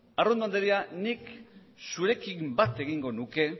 arrondo andrea nik zurekin bat egingo nuke